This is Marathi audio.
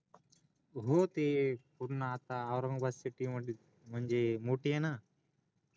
हो ते पू्र्ण आता औरंगाबाद CITY म्हंजी म्हणजे मोठीय ना